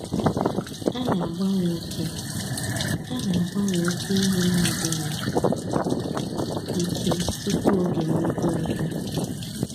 A na-agbanwe oke A na-agbanwe oke ehi n'adịghị ike tupu oge mmekọrịta.